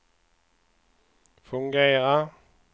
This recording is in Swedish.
fungerar